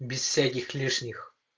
без всяких лишних